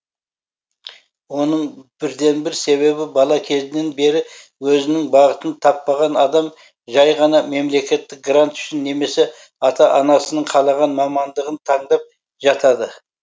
оның бірден бір себебі бала кезінен бері өзінің бағытын таппаған адам жай ғана мемлекеттік грант үшін немесе ата анасының қалаған мамандығын таңдап жатады